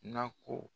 Nako